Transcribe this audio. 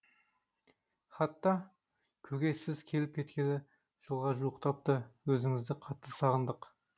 хатта көке сіз келіп кеткелі жылға жуықтапты өзіңізді қатты сағындық